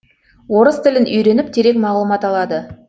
орыс тілін үйреніп терең мағлұмат алады